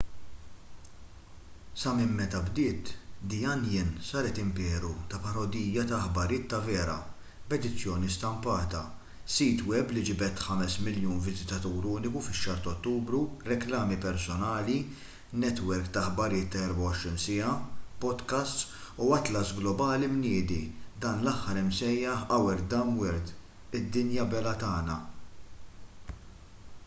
sa minn meta bdiet the onion saret imperu ta’ parodija ta’ aħbarijiet ta’ vera b’edizzjoni stampata sit web li ġibed 5,000,000 viżitatur uniku fix-xahar ta’ ottubru reklami personali netwerk ta’ aħbarijiet ta’ 24 siegħa podcasts u atlas globali mniedi dan l-aħħar imsejjaħ our dumb world” id-dinja belha tagħna”